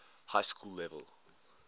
high school level